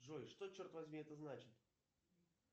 джой что черт возьми это значит